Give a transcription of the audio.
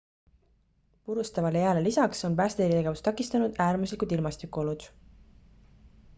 purustavale jääle lisaks on päästetegevust takistanud äärmuslikud ilmastikuolud